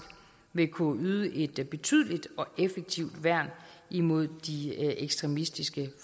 vil kunne yde et betydeligt og effektivt værn mod de ekstremistiske